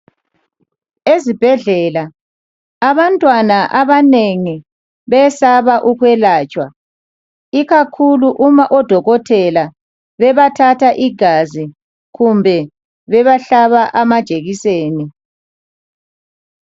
Ezibhedlela abantwana abanengi besaba ukwelatshwa ikakhulu uma odokotela bebathatha igazi kumbe bebahlaba amajekiseni.